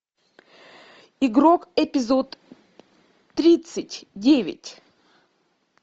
игрок эпизод тридцать девять